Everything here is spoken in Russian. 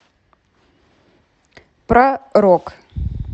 про рок